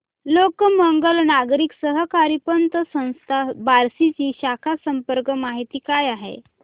लोकमंगल नागरी सहकारी पतसंस्था बार्शी ची शाखा संपर्क माहिती काय आहे